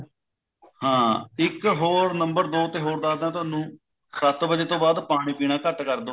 ਹਾਂ ਇੱਕ ਹੋਰ ਨੰਬਰ ਦੋ ਤੇ ਹੋ ਦੱਸਦਾ ਤੁਹਾਨੂੰ ਸੱਤ ਵੱਜੇ ਤੋਂ ਬਾਅਦ ਪਾਣੀ ਪੀਣਾ ਘੱਟ ਕਰਦੋ